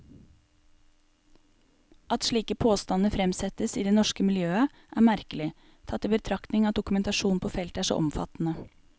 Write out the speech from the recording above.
At slike påstander fremsettes i det norske miljøet, er merkelig, tatt i betraktning at dokumentasjonen på feltet er så omfattende.